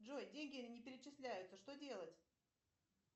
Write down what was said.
джой деньги не перечисляются что делать